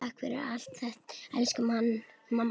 Takk fyrir allt, elsku mamma.